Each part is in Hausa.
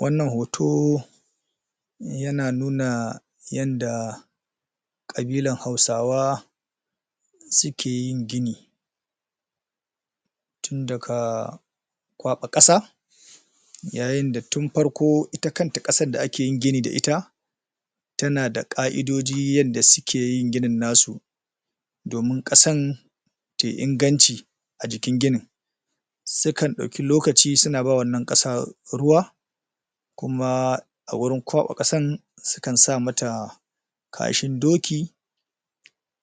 wannan hoto yana nuna yanda ƙabilan hausawa sukeyin gini tun daka ƙwaba ƙasa yayin da tun farko ita kanta ƙasad da ake gini da ita tana da ƙa'idoji yanda sukeyin ginin nasu domin ƙasan tai inganci a jikin ginin sukan ɗauki lokaci suna bawa wannan ƙasa ruwa kuma a wurin ƙwaɓa ƙasan sukan sa mata kashin doki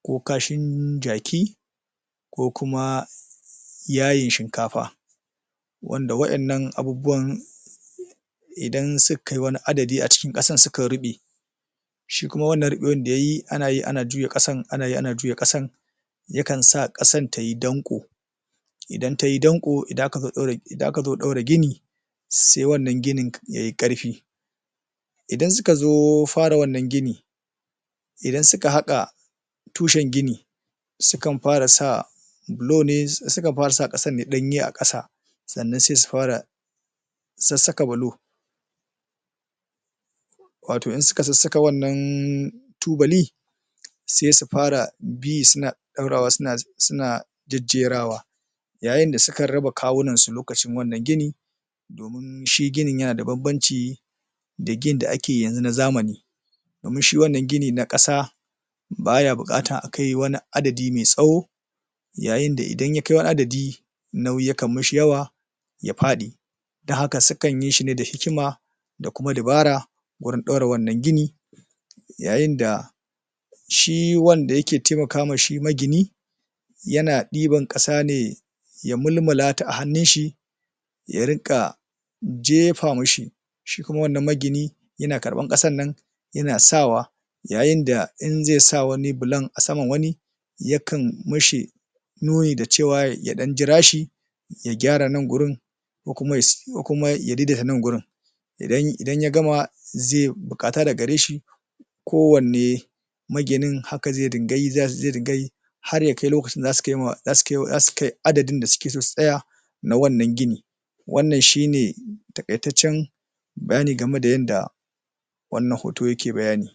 ko kashin jaki ko kuma yayin shinkafa wanda waƴannan abubuwan idan sukai wani adadi a cikin ƙasan sukan ruɓe shi kuma wannan ruɓewan da yayi anayi ana juya ƙasan anayi ana juya ƙasan yakansa ƙasan tayi danƙo idan tayi danƙo idan akazo ɗora gini sai wannan ginin yayi ƙarfi idan suka zo fara wannan gini idan suka haƙa tushan gini sukan fara sa bulo ne sukan fara sa ƙasanne ɗanye a ƙasa sannan sai sufara sassaka bulo wato in suka sassaka wannan tubali sai sufara bi suna ɗaurawa suna jajjerawa yayin da sukan raba kawunansu lokacin wannan gini domin shi ginin yana da banbanci da ginin da akeyi yanzu na zamani domin shi wannan gini na ƙasa baya buƙatar akai wani adadi mai tsawo yayin da idan ya kai wani adadi nauyi yakan mishi yawa ya faɗi dan haka sukanyi shine da hikima da kuma dabara gurin ɗaura wannan gini yayin da shi wanda yake taimakama shi magini yana ɗiban ƙasane ya mulmulata a hannunshi ya riƙa jefa mishi shi kuma wannan magini yana karɓan ƙasannan yana sawa yayin da inzai sa wani bulan asaman wani yakan mishi nuni da cewa ya ɗan jirashi ya gyara nan gurin ko kuma ya daidaita nan gurin idan ya gama zai buƙata daga gare shi ko wanne maginin haka zai dinga yi zai dinga yi har yakai lokacin da zasu kai adadin da suke so su tsaya na wannan gini wannan shine taƙaitatcan bayani game da yanda wannan hoto yake bayani.